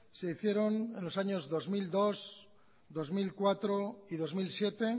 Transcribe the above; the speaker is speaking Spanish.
se hicieron en los año dos mil dos dos mil cuatro y dos mil siete